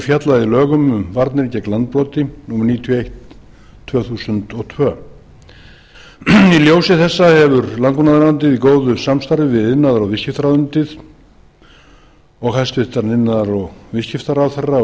fjallað í lögum um varnir gegn landbroti númer níutíu og eitt tvö þúsund og tvö í ljósi þessa hefur landbúnaðarráðuneytið í góðu samstarfi við iðnaðar og viðskiptaráðuneytið og hæstvirtur iðnaðar og viðskiptaráðherra og